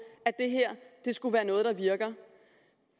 at det her skulle være noget der virker